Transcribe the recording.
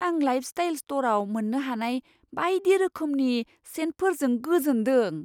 आं लाइफस्टाइल स्टरआव मोन्नो हानाय बायदि रोखोमनि सेन्टफोरजों गोजोनदों।